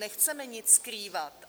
Nechceme nic skrývat.